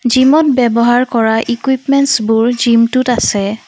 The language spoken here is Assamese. জিমত ব্যৱহাৰ কৰা ইকুইপমেন্তছবোৰ জিম টোত আছে।